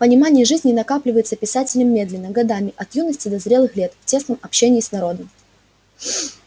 понимание жизни накапливается писателем медленно годами от юности до зрелых лет в тесном общении с народом